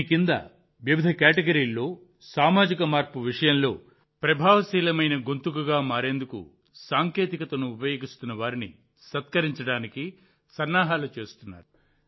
దీని కింద వివిధ కేటగిరీల్లో సామాజిక మార్పు విషయంలో ప్రభావశీలమైన గొంతుకగా మారేందుకు సాంకేతికతను ఉపయోగిస్తున్న వారిని సత్కరించడానికి సన్నాహాలు చేస్తున్నారు